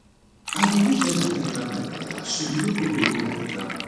i dey use leather take wrap my calabash so e no go break wen i dey travel